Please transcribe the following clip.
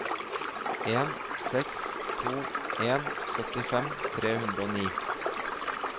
en seks to en syttifem tre hundre og ni